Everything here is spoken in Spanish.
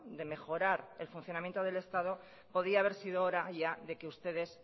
de mejorar el funcionamiento del estado podría haber sido hora ya de que ustedes